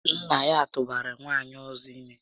Nnà ya tụbara nwaanyị ọzọ ime